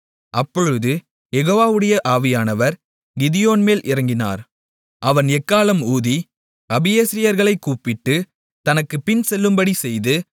அப்பொழுது யெகோவாவுடைய ஆவியானவர் கிதியோன்மேல் இறங்கினார் அவன் எக்காளம் ஊதி அபியேஸ்ரியர்களைக் கூப்பிட்டு தனக்குப் பின்செல்லும்படி செய்து